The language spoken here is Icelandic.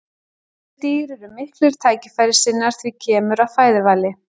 Þessi dýr eru miklir tækifærissinnar þegar kemur að fæðuvali.